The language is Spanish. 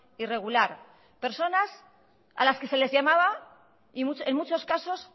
irregular personas a las que se les llamaba y en muchos casos